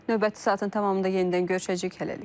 Növbəti saatın tamamında yenidən görüşəcəyik hələlik.